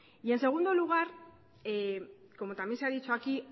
y en segundo lugar como también se ha dicho aquí